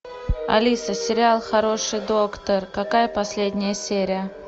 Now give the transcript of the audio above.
алиса сериал хороший доктор какая последняя серия